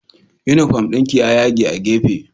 Unifom ɗinki ya yage a gefe